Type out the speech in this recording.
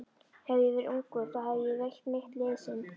Hefði ég verið ungur, þá hefði ég veitt mitt liðsinni.